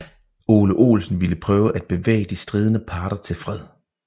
Ole Olsen ville prøve at bevæge de stridende parter til fred